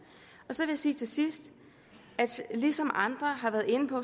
så vil jeg sige til sidst ligesom andre har været inde på